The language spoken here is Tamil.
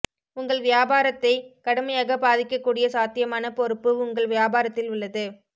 உங்கள் வியாபாரத்தை கடுமையாக பாதிக்கக்கூடிய சாத்தியமான பொறுப்பு உங்கள் வியாபாரத்தில் உள்ளது